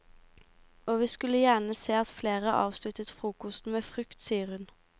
Og vi skulle gjerne se at flere avsluttet frokosten med frukt, sier hun.